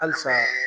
Halisa